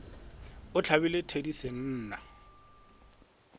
ge a hlabile thedi senna